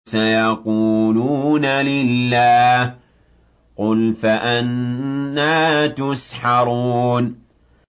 سَيَقُولُونَ لِلَّهِ ۚ قُلْ فَأَنَّىٰ تُسْحَرُونَ